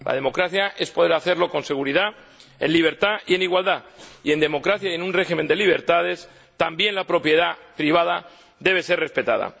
La democracia es poder hacerlo con seguridad, en libertad y en igualdad y, en democracia y en un régimen de libertades, también la propiedad privada debe ser respetada.